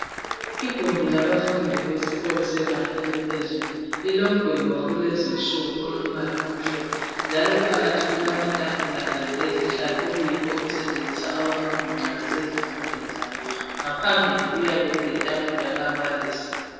Igumbi abafundi besikolo sebanga eliphezulu, lilomgwembe wakulezinsuku olombala omhlophe, njalo phakathi kulamatafula kanye lezihlalo okuyikho okusetshenziswa ngabafundi nxa besezifundweni zabo. Ngaphambili kuyabe kuletafula likambalisi.